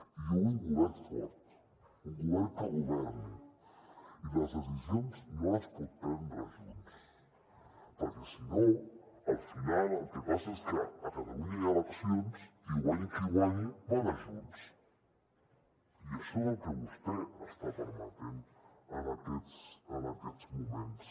i jo vull un govern fort un govern que governi i les decisions no les pot prendre junts perquè si no al final el que passa és que a catalunya hi ha eleccions i guanyi qui guanyi mana junts i això és el que vostè està permetent en aquests moments